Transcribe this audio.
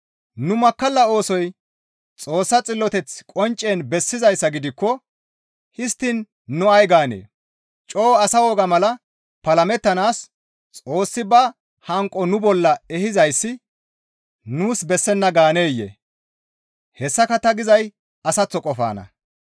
Nu makkalla oosoy Xoossa xilloteth qonccen bessizayssa gidikko histtiin nu ay gaanee? Coo asa woga mala palamettanaas Xoossi ba hanqo nu bolla ehizayssi nuus bessenna gaaneyee? Hessaka ta gizay asaththo qofanna.